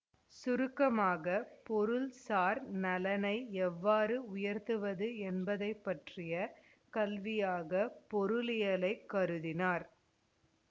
சுருக்கமாக பொருள்சார் நலனை எவ்வாறு உயர்த்துவது என்பதைப்பற்றிய கல்வியாக பொருளியலைக் கருதினார்